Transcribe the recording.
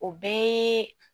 O bɛɛ ye